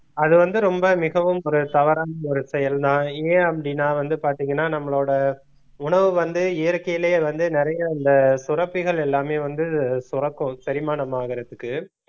அது வந்து ரொம்ப மிகவும் ஒரு தவறான ஒரு செயல்தான் ஏன் அப்படின்னா வந்து பாத்தீங்கன்னா நம்மளோட உணவு வந்து இயற்கையிலேயே வந்து நிறைய இந்த சுரப்பிகள் எல்லாமே வந்து சுரக்கும் செரிமானம் ஆகறதுக்கு